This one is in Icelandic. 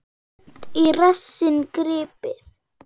Seint í rassinn gripið.